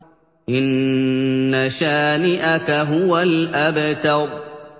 إِنَّ شَانِئَكَ هُوَ الْأَبْتَرُ